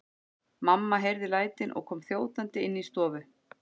Mamma heyrði lætin og kom þjótandi inn í stofu.